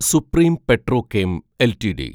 supreme petrochem LTD